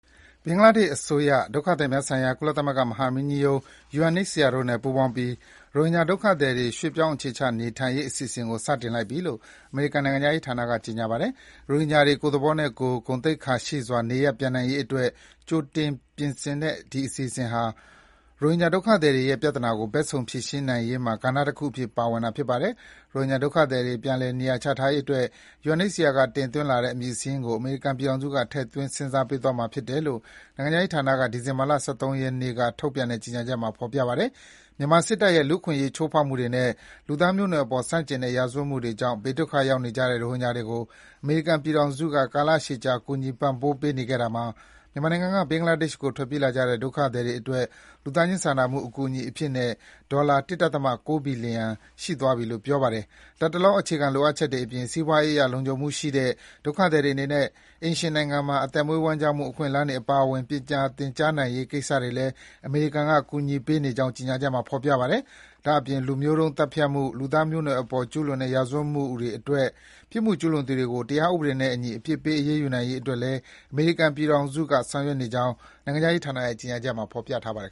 ဘင်္ဂလားဒေ့ရှ်အစိုးရနဲ့ ဒုက္ခသည်များဆိုင်ရာ ကုလသမဂ္ဂမဟာမင်းကြီးရုံး UNHCR အဖွဲ့တို့ ပူးပေါင်းပြီး ရိုဟင်ဂျာဒုက္ခသည်တွေ ရွှေ့ပြောင်းအခြေချနေထိုင်နိုင်ရေး အစီအစဉ်ကို စတင်လိုက်ပြီလို့ အမေရိကန် နိုင်ငံခြားရေးဌာနက ကြေညာပါတယ်။ ရိုဟင်ဂျာတွေ ကိုယ့်သဘောနဲ့ကိုယ်၊ ဂုဏ်သိက္ခာရှိစွာ နေရပ်ပြန်နိုင်ရေးအတွက် ကြိုတင်ပြင်တဲ့ ဒီအစီအစဉ်ဟာ ရိုဟင်ဂျာဒုက္ခသည်တွေရဲ့ ပြဿနာကို ဘက်စုံ ဖြေရှင်းနိုင်ရေးမှာ ကဏ္ဍတခုအဖြစ် ပါဝင်တာဖြစ်ပါတယ်။ ရိုဟင်ဂျာဒုက္ခသည်တွေ ပြန်လည် နေရာချထားရေးအတွက် UNHCR က တင်သွင်းလာတဲ့ အမည်စာရင်းကို အမေရိကန်ပြည်ထောင်စုက ထည့်သွင်း စဉ်းစားပေးသွားမှာ ဖြစ်တယ်လို့ နိုင်ငံခြားရေးဌာနက ဒီဇင်ဘာ ၁၃ ရက်က ထုတ်ပြန်တဲ့ ကြေညာချက်မှာ ဖော်ပြထားပါတယ်။ မြန်မာစစ်တပ်ရဲ့ လူ့အခွင့်အရေးချိုးဖောက်မှုတွေနဲ့ လူသားမျိုးနွယ်စုအပေါ်ဆန့်ကျင်တဲ့ ရာဇဝတ်မှုတွေကြောင့် ဘေးဒုက္ခရောက်နေကြတဲ့ ရိုဟင်ဂျာတွေကို အမေရိကန်ပြည်ထောင်စုက ကာလရှည်ကြာ ကူညီပံ့ပိုးပေးနေခဲ့တာမှာ မြန်မာနိုင်ငံကနေ ဘင်္ဂလားဒေ့ရှ်ကို ထွက်ပြေးလာကြတဲ့ ဒုက္ခသည်တွေအတွက် လူသားချင်းစာနာမှု အကူအညီအဖြစ်နဲ့ ဒေါ်လာ ၁.၉ ဘီလီယံ ရှိသွားပြီဖြစ်လို့ ပြောပါတယ်။ လတ်တလော အခြေခံလိုအပ်ချက်တွေအပြင် စီးပွားရေးအရ လုံခြံမှုရှိတဲ့၊ ဒုက္ခသည်တွေအနေနဲ့ အိမ်ရှင်နိုင်ငံမှာ အသက်မွေးဝမ်းကျောင်းမှု အခွင့်အလမ်းတွေ အပါအဝင် ပညာသင်ကြားနိုင်ရေးကိစ္စတွေလည်း အမေရိကန်ကကူညီပေးနေကြောင်း ကြေညာချက်မှာ ဖော်ပြပါတယ်။ ဒါ့အပြင် လူမျိုးတုန်းသတ်ဖြတ်မှု၊ လူသားမျိုးနွယ်စုအပေါ်ကျူးလွန်တဲ့ ရာဇဝတ်မှုတွေအတွက် ပြစ်မှုကျူးလွန်သူတွေကို တရားဥပဒေနဲ့အညီ အပြစ်ပေး အရေးယူနိုင်ရေးအတွက်လည်း အမေရိကန်ပြည်ထောင်စုက ဆောင်ရွက်နေကြောင်း နိုင်ငံခြားရေးဌာနရဲ့ ကြေညာချက်မှာ ဖော်ပြထားပါတယ်